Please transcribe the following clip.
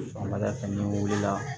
Sɔgɔmada fɛ n'i wulila